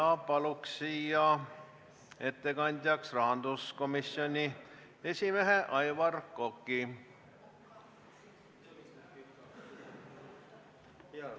Palun ettekandjaks rahanduskomisjoni esimehe Aivar Koka.